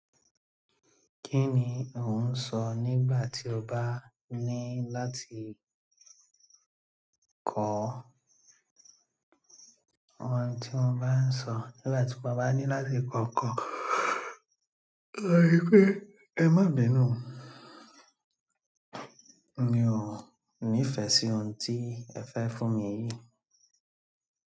Kí ni ò ń sọ nígbà tí o bá ní láti kọ́? Ohun tí mo bá ń sọ nígbà tí mo bá ní láti kọ́ nkan, oun ni pé ẹ má bínú o. Mi o nifẹ si ohun ti fẹ fún mi yìí.